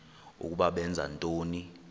ukuba benza ntoni